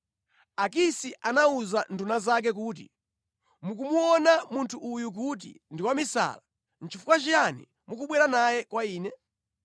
Akisi anawuza nduna zake kuti, “Mukumuona munthu uyu kuti ndi wamisala! Nʼchifukwa chiyani mukubwera naye kwa ine?